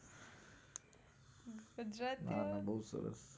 ના ના બોવ સરસ